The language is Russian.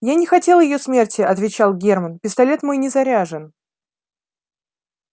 я не хотел её смерти отвечал германн пистолет мой не заряжен